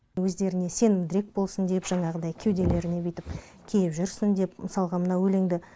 өздеріне сенімдірек болсын деп жаңағыдай кеуделеріне бүйтіп киіп жүрсін деп мысалға мына өлеңді